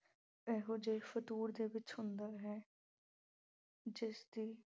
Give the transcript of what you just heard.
ਇਹੋ ਜੇ ਫਤੂਰ ਦੇ ਵਿੱਚ ਹੁੰਦਾ ਹੈ ਜਿਸ ਦੀ